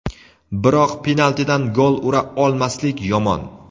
biroq penaltidan gol ura olmaslik yomon.